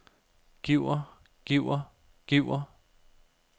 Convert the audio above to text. giver giver giver